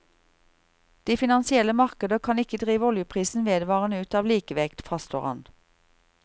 De finansielle markeder kan ikke drive oljeprisen vedvarende ut av likevekt, fastslår han.